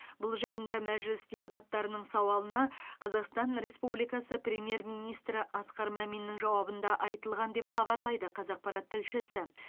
бұл жайында мәжіліс депутаттарының сауалына қазақстан республикасы премьер министрі асқар маминнің жауабында айтылған деп хабарлайды қазақпарат тілшісі